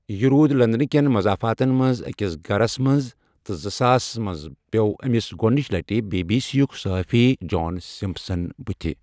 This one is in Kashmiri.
یہِ روُد لندنہٕ کٮ۪ن مضافاتن منز أکِس گھرس منٛز تہٕ زٕ ساسس منٛز پیوٚو أمس گۄڈٕنِچہِ لَٹہِ بی بی سی ہک صحافی جان سمپسن بٔتِھہ ۔